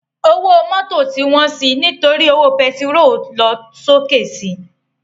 Ówó mòtó ti wòn si nitóri ówó pètiról tó lòsóké si